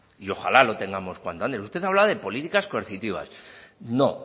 y ojalá lo tengamos cuanto antes usted hablaba de políticas coercitivas no